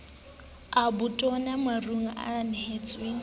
a botona marong a ntshuwang